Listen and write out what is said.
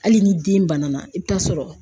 Hali ni den bana na, i bɛ t'a sɔrɔ.